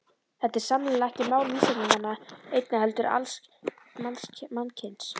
Þetta er sannarlega ekki mál vísindamanna einna heldur alls mannkyns.